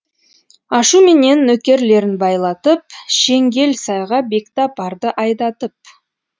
ашуменен нөкерлерін байлатып шеңгел сайға бекті апарды айдатып